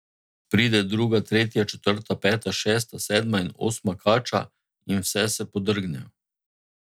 Pride druga, tretja, četrta, peta, šesta, sedma in osma kača, in vse se podrgnejo.